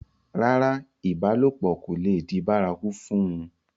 rárá, ìbálòpọ̀ kò le di bárakú fún un